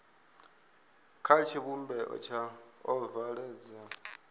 kha tshivhumbeo tsha ovala dzo